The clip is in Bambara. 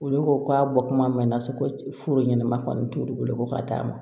Olu ko k'a bɔ kuma mɛn na so ko furu ɲɛnama kɔni t'olu bolo ko ka d'a ma